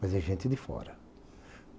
Mas é gente de fora.